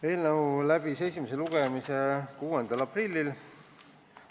Eelnõu läbis esimese lugemise 6. aprillil.